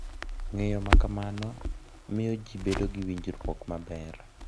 Ng’eyo ma kamano miyo ji bedo gi winjruok maber